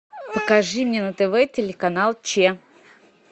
покажи мне на тв телеканал че